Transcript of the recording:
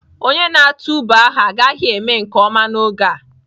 Onye na-atụ ube ahụ agaghị eme nke ọma n'oge a.